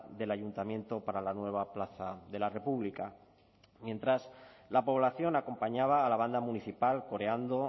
del ayuntamiento para la nueva plaza de la república mientras la población acompañaba a la banda municipal coreando